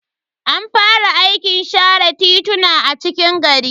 An fara aikin share tituna a cikin gari.